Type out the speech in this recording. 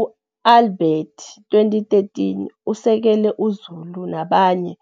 U-Albert, 2013, usekele uZulu nabanye,